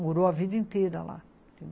Morou a vida inteira lá.